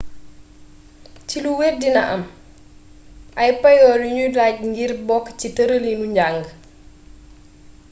ci lu wër dina am ay payoor yu nuy laaj ngir bokk ci tërëlinu njàng